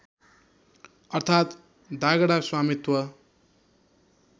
अर्थात् दागडा स्वामित्व